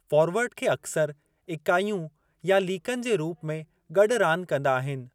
Forward खे अक्सर ईकाइयूं या लीकनि जे रूप में गॾु रांदु कंदा आहिनि।